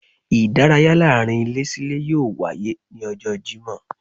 Idàráyá laarin ilé sí ìlé yóò waye ni ọjọ Jimọ